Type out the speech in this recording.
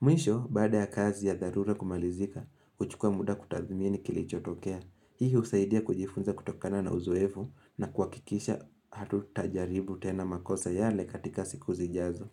Mwisho, baada ya kazi ya dharura kumalizika, huchukua muda kutathmini kilichotokea. Hii husaidia kujifunza kutokana na uzoefu na kuakikisha hatu tajaribu tena makosa yale katika siku zijazo.